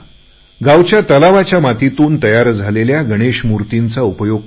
गावच्या तलावातल्या मातीतून तयार झालेल्या गणेश मूर्तीचा उपयोग करा